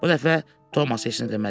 Bu dəfə Tomas heç nə demədi.